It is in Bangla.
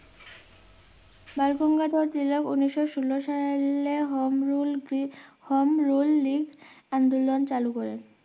বালগঙ্গাধর তিলক উনিশশো ষোলো সাল হমরুল কি হমরুল লিক আন্দোলন চালু করেন